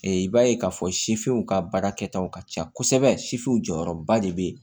i b'a ye k'a fɔ sifiniw ka baara kɛtaw ka ca kosɛbɛ sifu jɔyɔrɔba de bɛ yen